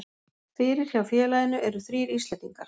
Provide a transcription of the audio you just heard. Fyrir hjá félaginu eru þrír Íslendingar.